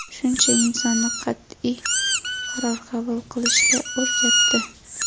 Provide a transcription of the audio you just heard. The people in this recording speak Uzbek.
Shuncha insonni qatʼiy qaror qabul qilishga o‘rgatdi.